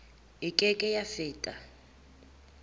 e ke ke ya feta